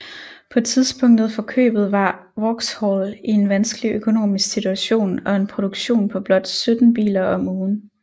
På tidspunktet for købet var Vauxhall i en vanskelig økonomisk situation og en produktion på blot 17 biler om ugen